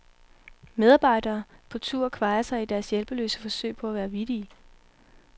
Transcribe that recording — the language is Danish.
Medarbejere på tur kvajer sig i deres hjælpeløse forsøg på at være vittige.